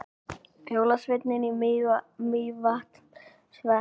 Jólasveinar í Mývatnssveit